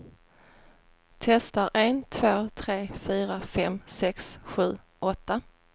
Testar en två tre fyra fem sex sju åtta.